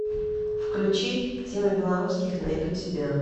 включи тима белорусских найду тебя